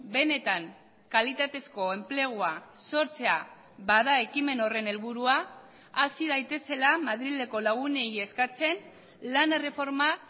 benetan kalitatezko enplegua sortzea bada ekimen horren helburua hasi daitezela madrileko lagunei eskatzen lan erreforma